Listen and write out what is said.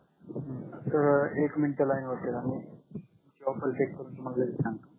तर एक minute line वरती राह तुमची ऑफर चेक करून तुम्हाला लगेच सांगतो